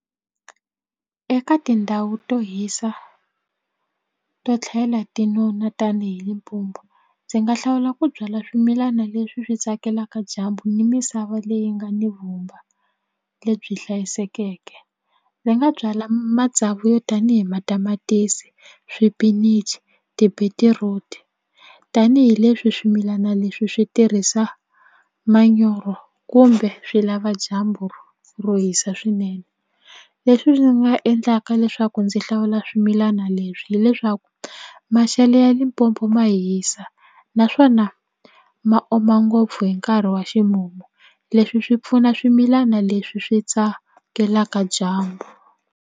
Eka tindhawu to hisa to tlhela tinona tanihi Limpopo ndzi nga hlawula ku byala swimilana leswi swi tsakelaka dyambu ni misava leyi nga ni vumba lebyi hlayisekeke ndzi nga byala matsavu yo tani hi matamatisi swipinichi tibetiruti tanihileswi swimilana leswi swi tirhisa manyoro kumbe swi lava dyambu ro hisa swinene leswi swi nga endlaka leswaku ndzi hlawula swimilana leswi hileswaku maxelo ya Limpopo ma hisa naswona ma oma ngopfu hi nkarhi wa ximumu leswi swi pfuna swimilana leswi swi tsakelaka dyambu.